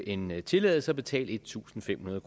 en tilladelse og betale en tusind fem hundrede